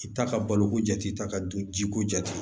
I bi taa ka balo ko jate ta ka dun ji ko jate